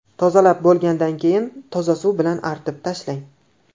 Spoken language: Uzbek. Tozalab bo‘lgandan keyin toza suv bilan artib tashlang.